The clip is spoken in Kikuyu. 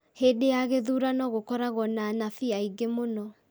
Hĩndĩ ya gĩthurano gũkoragwo na anabii aingĩ mũno